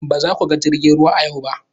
Ba za ku ga jirgin ruwa a yau ba!